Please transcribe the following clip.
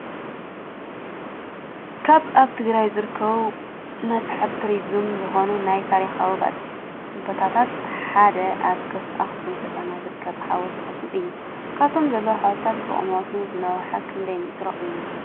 ካብ ኣብ ትግራይ ዝርከቡ መስሕብ ትሪዝም ዝኾኑን ናይ ታሪካዊ ቦታታት ሓደ ኣብ ኣክሱም ከተማ ዝርከብ ሓወልቲ ኣክሱም እዮ፡፡ ካብቶም ዘለው ሓወልትታት ብቑመቱ ዝነውሐ ክንደይ ሜትሮ እዩ?